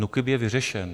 NÚKIB je vyřešen.